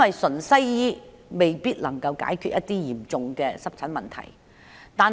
純西醫未必能夠解決嚴重的濕疹問題。